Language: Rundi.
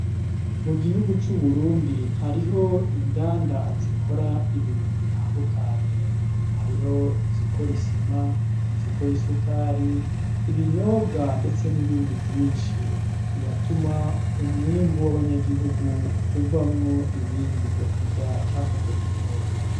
Mu gihugu c'Uburundi hariho inganda zikora ibintu bitandukanye, hariho izikora isima, izikora isukari, ibinyobwa ndetse n'ibindi vyinshi biratuma umwimbu w'abanyagihugu uvamwo ibindi vyo kurya canke vyo kunyobwa.